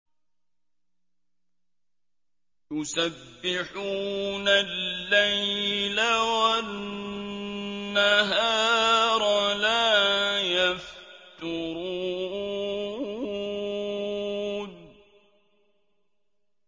يُسَبِّحُونَ اللَّيْلَ وَالنَّهَارَ لَا يَفْتُرُونَ